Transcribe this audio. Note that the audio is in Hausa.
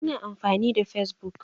Ina amfani da fesbuk.